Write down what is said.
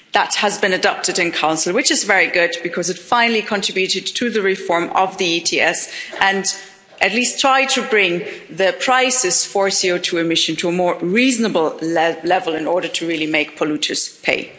That has been adopted in Council, which is very good, because it finally contributed to the reform of the ETS and at least tried to bring the prices for CO2 emissions to a more reasonable level in order to really make polluters pay.